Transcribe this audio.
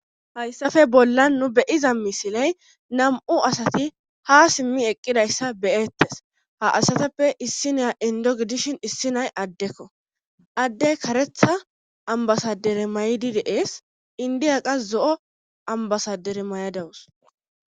hayssafe bollan nu beyiza misiley nam7u asati ha simmi eqqidayssa beyettes ha asatappe issi naa indo gidishin issi nay addekko adde karetha ambasadere may7di deees indiyaqa zo7o ambasadere may7adawus